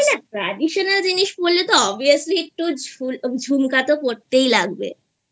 আরে না Traditional জিনিস পড়লে তো Obviously একটু ঝুমকা তো পড়তেই লাগবেI